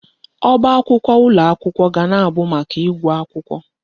Ọba akwụkwọ ụlọ akwụkwọ ga na-abụ maka ịgụ akwụkwọ.